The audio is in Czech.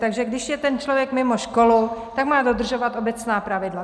Takže když je ten člověk mimo školu, tak má dodržovat obecná pravidla.